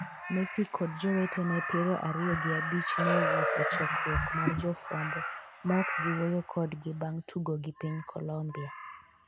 Messi kod jowetene piero ariyo gi abich ne owuok e chokruok mar jofwambo ma ok giwuoyo kodgi bang' tugo gi piny Colombia.